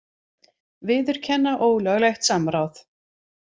Viðurkenna ólöglegt samráð